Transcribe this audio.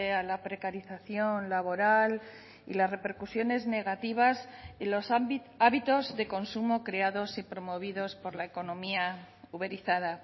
a la precarización laboral y las repercusiones negativas y los hábitos de consumo creados y promovidos por la economía uberizada